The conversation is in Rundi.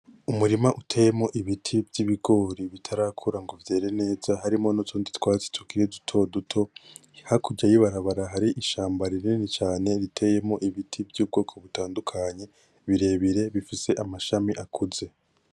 Umurima uteyemwo ibiti vyibigori bitarakura ngo vyereneza harimwo nutundi twatsi tukiri dutoduto. hakurya yibarabara harishamba rinini cane riteyemwo ibiti vyubwoko butadukanye birebire bifise amashami akuze.